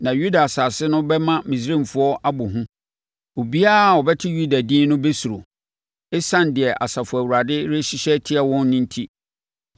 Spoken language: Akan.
Na Yuda asase no bɛma Misraimfoɔ abɔ hu. Obiara a ɔbɛte Yuda din no bɛsuro, ɛsiane deɛ Asafo Awurade rehyehyɛ atia wɔn enti.